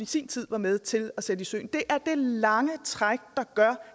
sin tid var med til at sætte i søen det er lange træk der gør